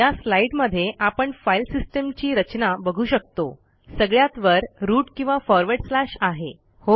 या स्लाईडमध्ये आपण फाईल सिस्टीमची रचना बघू शकतोसगळ्यात वर रूट किंवा फॉरवर्ड स्लॅश आहे